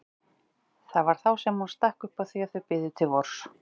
Það var þá sem hún stakk upp á því að þau biðu til vors.